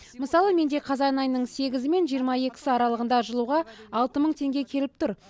мысалы менде қазан айының сегізі мен жиырма екісі аралығында жылуға алты мың теңге келіп тұр